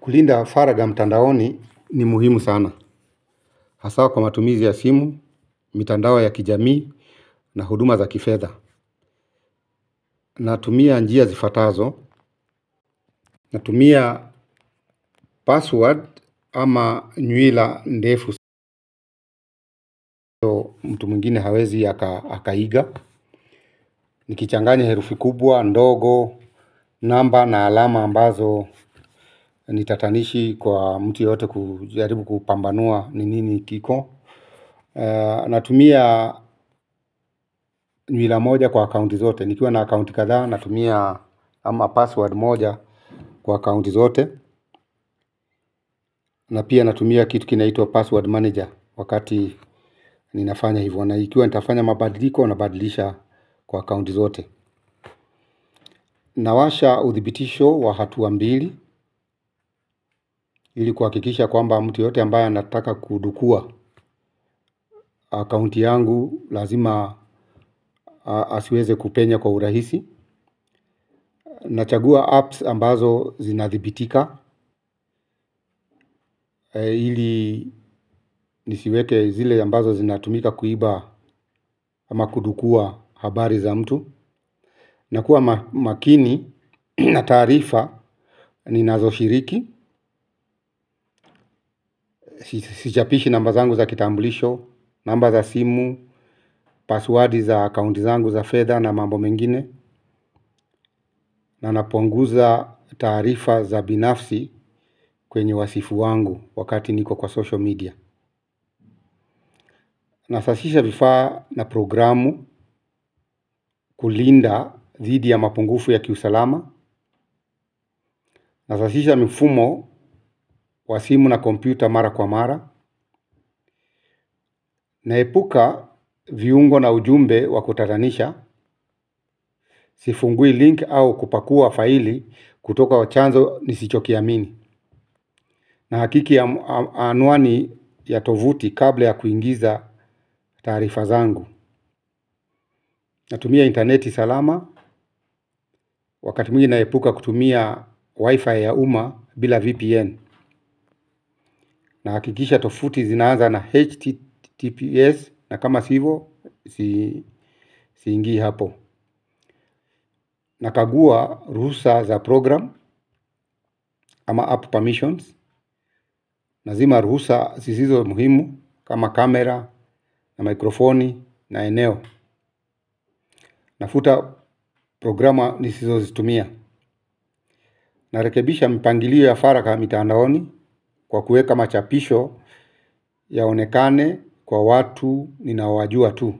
Kulinda faraga mtandaoni ni muhimu sana. Haswa kwa matumizi ya simu, mtandao ya kijamii na huduma za kifedha. Natumia njia zifatazo. Natumia password ama nywila ndefu. Mtu mwingine hawezi ya akaiga. Nikichanganya herufi kubwa, ndogo, namba na alama ambazo. Ni tatanishi kwa mtu yote kujaribu kupambanua ni nini hakika. Natumia nywila moja kwa akaunti zote. Nikiwa na account kadhaa natumia ama password moja kwa account zote. Na pia natumia kitu kinaitwa password manager wakati ninafanya hivo. Na ikiwa nitafanya mabadiliko nabadilisha kwa account zote. Nawasha uthibitisho wa hatua mbili ili kuhakikisha kwamba mtu yote ambaye anataka kudukua Account yangu lazima asiweze kupenya kwa urahisi. Nachagua apps ambazo zinathibitika. Ili nisiweke zile ambazo zinatumika kuiba ama kudukua habari za mtu. Na kuwa makini na taarifa ninazo shiriki. Sichapishi namba zangu za kitamblisho. Namba za simu, passwordi za akaunti zangu za fedha na mambo mengine. Na napunguza taarifa za binafsi kwenye wasifu wangu wakati niko kwa social media. Nasafisha vifaa na programu kulinda dhidi ya mapungufu ya kiusalama. Nasafisha mifumo wa simu na kompyuta mara kwa mara. Naepuka viungo na ujumbe wa kutadhanisha. Sifungui link au kupakua faili kutoka kwa chanzo nisichokiamini. Nahakiki ya anwani ya tovuti kabla ya kuingiza taarifa zangu. Natumia interneti salama wakati mwingi naepuka kutumia wifi ya umma bila VPN. Nahakikisha tovuti zinaaza na HTTPS na kama si hivo siingi hapo. Nakagua ruhusa za program kama app permissions. Nazima ruhusa zisizo muhimu kama kamera na mikrofoni na eneo. Nafuta programa nisizozitumia. Narekebisha mpangilio wa faraga mtandaoni kwa kuweka machapisho yaonekane kwa watu ninaowajua tu.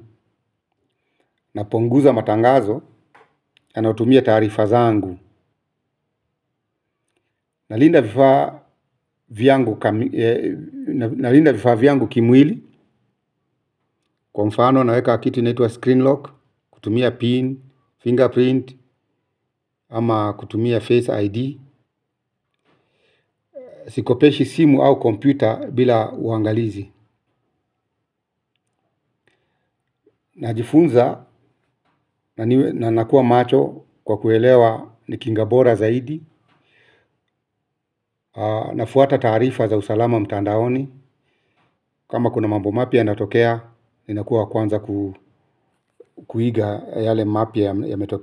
Napunguza matangazo yanayotumia taarifa zangu nalinda vifaa vyangu kimwili kwa mfano naweka kiti inaitwa screen lock kutumia pin, fingerprint ama kutumia face ID sikopeshi simu au kompyuta bila uangalizi najifunza na nakuwa macho kwa kuelewa ni kinga bora zaidi nafuata taarifa za usalama wa mtandaoni kama kuna mambo mapya yanatokea. Ninakuwa wa kwanza kuiga yale mapya yametokea.